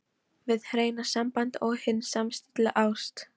HIÐ HREINA SAMBAND OG HIN SAMSTILLTA ÁST